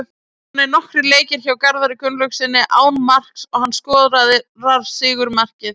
Það eru komnir nokkrir leikir hjá Garðari Gunnlaugssyni án marks og hann skorar sigurmarkið.